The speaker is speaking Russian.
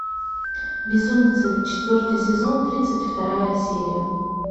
безумцы четвертый сезон тридцать вторая серия